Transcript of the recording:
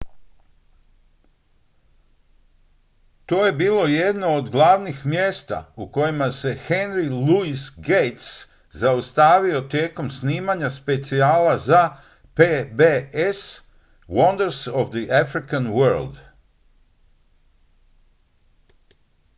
to je bilo jedno od glavnih mjesta u kojima se henry louis gates zaustavio tijekom snimanja specijala za pbs wonders of the african world